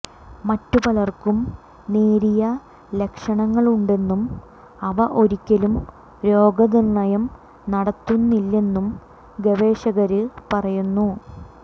മറ്റു പലര്ക്കും നേരിയ ലക്ഷണങ്ങളുണ്ടെന്നും അവ ഒരിക്കലും രോഗനിര്ണയം നടത്തുന്നില്ലെന്നും ഗവേഷകര് പറയുന്നു